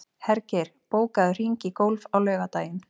Hergeir, bókaðu hring í golf á laugardaginn.